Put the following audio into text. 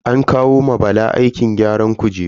An kawo ma Bala aikin gyaran kujeru.